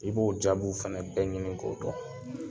I b'o jaabiw fana bɛɛ ɲini k'o dɔn